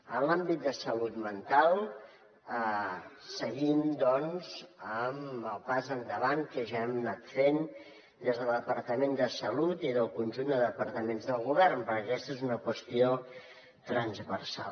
en l’àmbit de salut mental seguim amb el pas endavant que ja hem anat fent des del departament de salut i del conjunt de departaments del govern perquè aquesta és una qüestió transversal